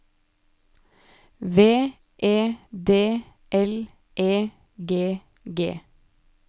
V E D L E G G